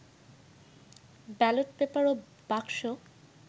ballot paper ও বাক্স